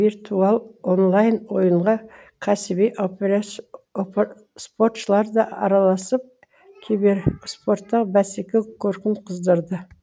виртуал онлайн ойынға кәсіби операц опр спортшылар да араласып кибер спортта бәсеке көркін қыздырды